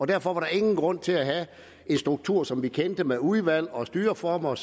derfor var der ingen grund til at have en struktur som vi kendte det med udvalg og styreformer